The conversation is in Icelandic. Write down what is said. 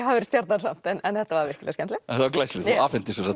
stjarnan samt en þetta var virkilega skemmtilegt þetta var glæsilegt þú afhentir sem sagt